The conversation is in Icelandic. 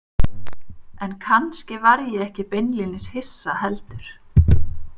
En kannski var ég ekki beinlínis hissa heldur.